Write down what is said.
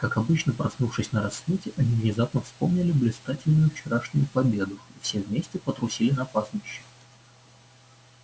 как обычно проснувшись на рассвете они внезапно вспомнили блистательную вчерашнюю победу и все вместе потрусили на пастбище